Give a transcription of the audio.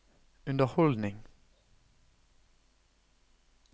underholdning